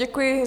Děkuji.